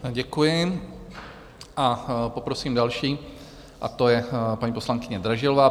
Děkuji a poprosím další a to je paní poslankyně Dražilová.